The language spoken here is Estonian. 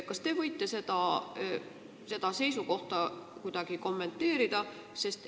Kas te võite seda seisukohta kuidagi kommenteerida?